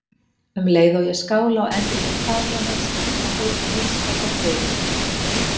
Um leið og ég skála og endurgeld faðmlög hans og heit um vinskap og tryggð.